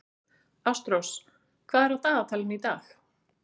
Ásrós, hvað er á dagatalinu í dag?